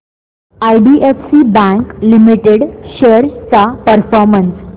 IDFC bank limited shares चा performance